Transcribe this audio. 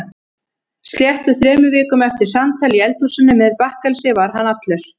Sléttum þremur vikum eftir samtal í eldhúsinu með bakkelsi var hann allur.